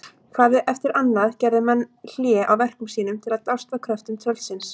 Hvað eftir annað gerðu menn hlé á verkum sínum til að dást að kröftum tröllsins.